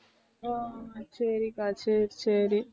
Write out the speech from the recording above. ஹம் சரிக்கா சரி சரி